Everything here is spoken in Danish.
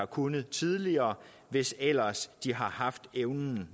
kunne tidligere hvis ellers de nogensinde har haft evnen